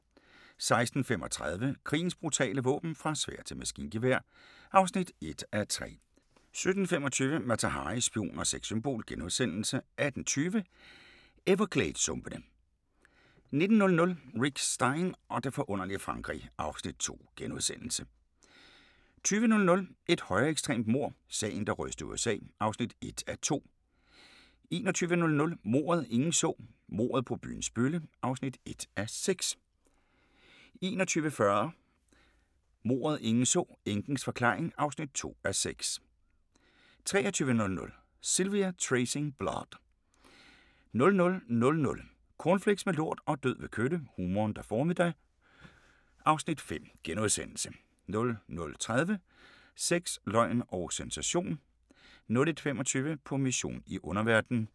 16:35: Krigens brutale våben - fra sværd til maskingevær (1:3) 17:25: Mata Hari – spion og sexsymbol * 18:20: Evergladessumpene 19:00: Rick Stein og det forunderlige Frankrig (Afs. 2)* 20:00: Et højreekstremt mord – Sagen, der rystede USA (1:2) 21:00: Mordet, ingen så: Mordet på byens bølle (1:6) 21:40: Mordet, ingen så: Enkens forklaring (2:6) 23:00: Sylvia: Tracing Blood 00:00: Cornflakes med lort og død ved kølle – humoren, der formede dig (Afs. 5)* 00:30: Sex, løgn og sensation